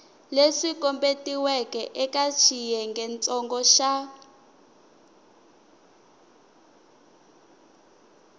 leswi kombetiweke eka xiyengentsongo xa